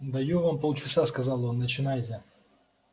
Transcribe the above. даю вам полчаса сказал он начинайте